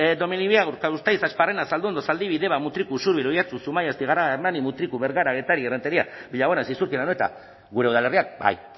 donemiliaga urkabustaiz asparrena zalduondo zaldibi deba mutriku usurbil oihartzun zumaia astigarraga hernani mutriku bergara getaria errenteria billabona zizurkil anoeta gure udalerriak bai